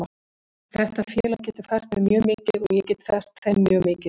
Þetta félag getur fært mér mjög mikið og ég get fært þeim mjög mikið.